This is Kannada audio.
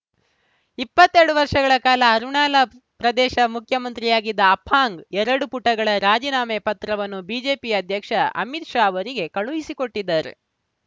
ಇಪ್ಪತ್ತೆರಡು ವರ್ಷಗಳ ಕಾಲ ಅರುಣಾಲ ಪ್ರದೇಶ ಮುಖ್ಯಮಂತ್ರಿಯಾಗಿದ್ದ ಅಪಾಂಗ್‌ ಎರಡು ಪುಟಗಳ ರಾಜೀನಾಮೆ ಪತ್ರವನ್ನು ಬಿಜೆಪಿ ಅಧ್ಯಕ್ಷ ಅಮಿತ್‌ ಶಾ ಅವರಿಗೆ ಕಳುಹಿಸಿಕೊಟ್ಟಿದ್ದಾರೆ